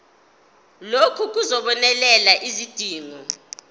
lokhu kuzobonelela izidingo